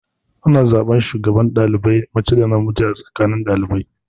Ana zaɓan shugaban ɗalibai mace da namiji a tsakanin ɗalibai.